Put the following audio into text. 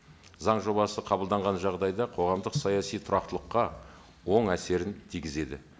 заң жобасы қабылданған жағдайда қоғамдық саяси тұрақтылыққа оң әсерін тигізеді